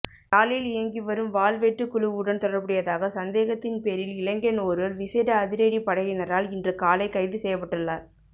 யாழில் இயங்கிவரும் வாள்வெட்டு குழுவுடன் தொடர்புடையதாக சந்தேகத்தின் பேரில் இளைஞன் ஒருவர் விசேட அதிரடிப்படையினரால் இன்று காலை கைது செய்யப்பட்டுள்ளார்